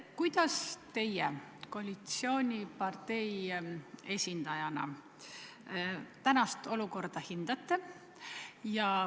Kuidas teie koalitsioonipartei esindajana tänast olukorda hindate?